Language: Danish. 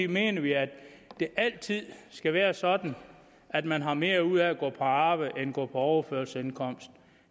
mener vi at det altid skal være sådan at man har mere ud af at gå på arbejde end på på overførselsindkomst